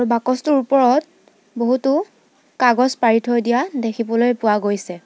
বাকচটোৰ ওপৰত বহুতো কাগজ পাৰি থৈ দিয়া দেখিবলৈ পোৱা গৈছে।